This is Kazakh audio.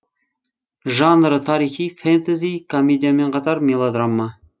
жанры тарихи фэнтези комедиямен қатар мелодрама